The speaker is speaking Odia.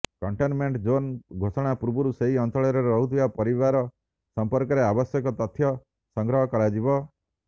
କଣ୍ଟେନମେଣ୍ଟ ଜୋନ୍ ଘୋଷଣା ପୂର୍ବରୁ ସେହି ଅଞ୍ଚଳରେ ରହୁଥିବା ପରିବାର ସମ୍ପର୍କରେ ଆବଶ୍ୟକ ତଥ୍ୟ ସଂଗ୍ରହ କରାଯିବ